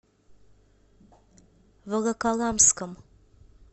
волоколамском